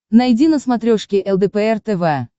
найди на смотрешке лдпр тв